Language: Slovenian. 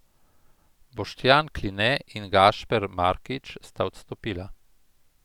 Boštjan Kline in Gašper Markič sta odstopila.